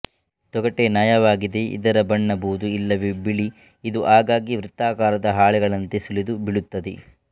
ತೊಗಟೆ ನಯವಾಗಿದೆ ಇದರ ಬಣ್ಣ ಬೂದು ಇಲ್ಲವೆ ಬಿಳಿ ಇದು ಆಗಾಗ್ಗೆ ವೃತ್ತಾಕಾರದ ಹಾಳೆಗಳಂತೆ ಸುಲಿದು ಬೀಳುತ್ತದೆ